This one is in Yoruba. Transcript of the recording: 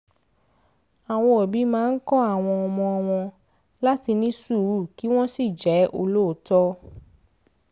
àwọn òbí máa ń kọ́ àwọn ọmọ wọn láti ní sùúrù kí wọ́n sì jẹ́ olóòótọ́